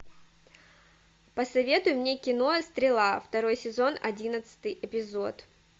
посоветуй мне кино стрела второй сезон одиннадцатый эпизод